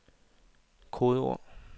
kodeord